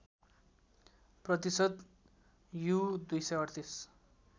प्रतिशत यु२३८